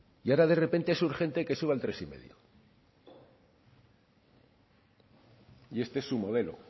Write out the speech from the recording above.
y ahora de repente es urgente que suba al tres coma cinco este es su modelo